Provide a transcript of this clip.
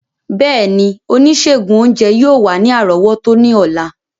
Bẹẹni, onisegun ounjẹ yoo wa ni arọwọto ni ọla.